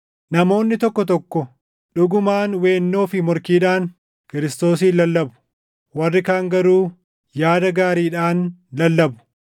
Namoonni tokko tokko dhugumaan weennoo fi morkiidhaan Kiristoosin lallabu; warri kaan garuu yaada gaariidhaan lallabu.